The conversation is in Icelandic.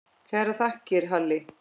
Kærar þakkir, Halli.